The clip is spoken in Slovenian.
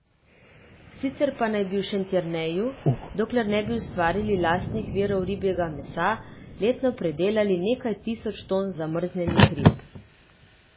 Sicer pa naj bi v Šentjerneju, dokler ne bi ustvarili lastnih virov ribjega mesa, letno predelali nekaj tisoč ton zamrznjenih rib.